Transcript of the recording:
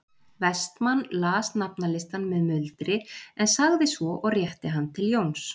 Vestmann las nafnalistann með muldri en sagði svo og rétti hann til Jóns